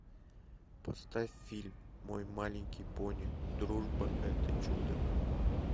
поставь фильм мой маленький пони дружба это чудо